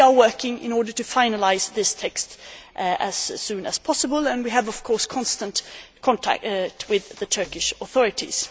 We are working in order to finalise this text as soon as possible and we are in constant contact with the Turkish authorities.